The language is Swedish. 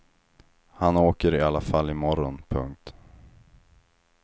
Han åker i alla fall i morgon. punkt